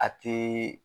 A tɛ